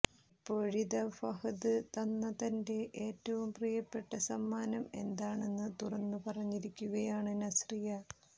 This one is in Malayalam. ഇപ്പോഴിതാ ഫഹദ് തന്ന തന്റെ ഏറ്റവും പ്രിയപ്പെട്ട സമ്മാനം എന്താണെന്ന് തുറന്നു പറഞ്ഞിരിക്കുകയാണ് നസ്രിയ